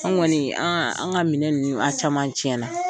An kɔni an ka minɛn ninnu a caman tiɲɛna.